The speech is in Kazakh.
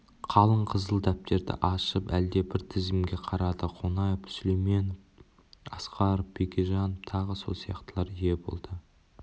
қалың қызыл дәптерді ашып әлдебір тізімге қарады қонаев сүлейменов асқаров бекежанов тағы сол сияқтылар ие болды